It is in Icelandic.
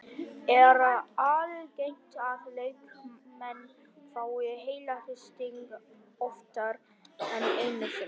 Er algengt að leikmenn fái heilahristing oftar en einu sinni?